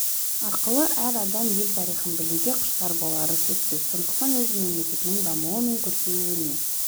арқылы әр адам ел тарихын білуге құштар болары сөзсіз сондықтан өз мемлекетінің дамуы мен көркеюіне